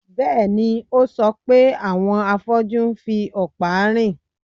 Bẹ́ẹ̀ni, ó sọ pé àwọn afọ́jú ń fi ọ̀pá rìn